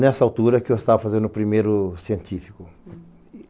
Nessa altura que eu estava fazendo o primeiro científico.